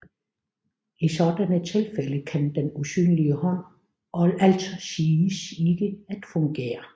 I sådanne tilfælde kan den usynlige hånd altså siges ikke at fungere